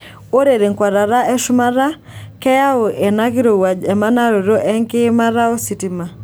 Ore tenkwatata eshumata, keyau ena kirowuaj emanaroto enkiimata ositima.